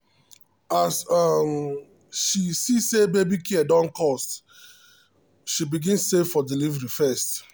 as um she see say baby care don cost um she begin save for delivery first.